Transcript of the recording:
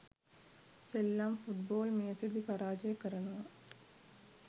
සෙල්ලම් ෆුට්බෝල් මේසෙදි පරාජය කරනවා.